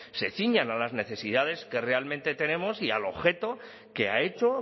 se ciñan a las necesidades que realmente tenemos y al objeto que ha hecho